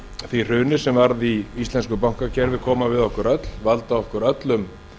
því hruni sem varð í íslensku bankakerfi koma við okkur öll valda okkur öllum